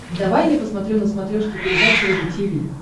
давай я посмотрю на смотрешке передачу рубль ти ви